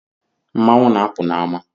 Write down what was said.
Mmanwụ na-apụ n’ama